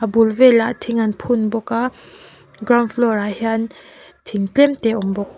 a bul velah thing an phun bawk a ground floor ah hian thing tlemte a awm bawk.